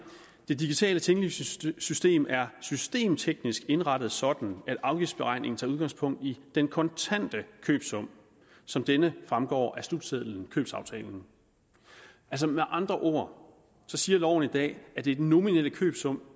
det digitale tinglysningssystem er systemteknisk indrettet sådan at afgiftsberegningen tager udgangspunkt i den kontante købesum som denne fremgår af slutseddelen købsaftalen altså med andre ord siger loven i dag at det er den nominelle købesum